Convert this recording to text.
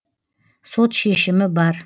сот шешімі бар